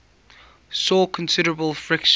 saw considerable friction